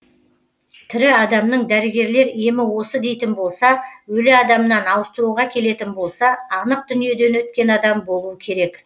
тірі адамның дәрігерлер емі осы дейтін болса өлі адамнан ауыстыруға келетін болса анық дүниеден өткен адам болуы керек